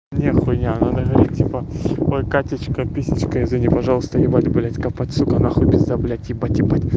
не хуйня надо говорить типа ой катечка писечка извини пожалуйста ебать блять копать сука нахуй пизда блядь ебать ебать